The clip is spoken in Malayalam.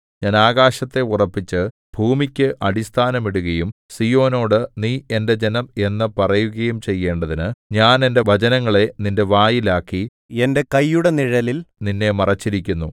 ഞാൻ ആകാശത്തെ ഉറപ്പിച്ച് ഭൂമിക്ക് അടിസ്ഥാനം ഇടുകയും സീയോനോട് നീ എന്റെ ജനം എന്നു പറയുകയും ചെയ്യേണ്ടതിന് ഞാൻ എന്റെ വചനങ്ങളെ നിന്റെ വായിൽ ആക്കി എന്റെ കൈയുടെ നിഴലിൽ നിന്നെ മറച്ചിരിക്കുന്നു